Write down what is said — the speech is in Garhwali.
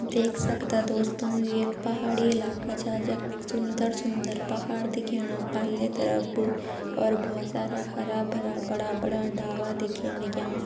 देख सक्दा दोस्तों ये एक पहाड़ी इलाका छ जख सुन्दर सुन्दर पहाड़ दिखेणा पल्ले तरप और भोत सारा हरा-भरा बड़ा बड़ा डावा दिखेण लग्यां।